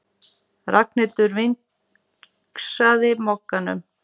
Ragnhildur vingsaði Mogganum.